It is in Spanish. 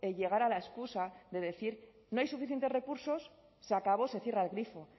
llegar a la excusa de decir no hay suficientes recursos se acabó se cierra el grifo